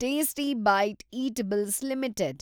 tasty bite eatables limited